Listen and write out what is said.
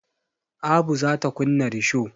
Abu za ta kunna risho.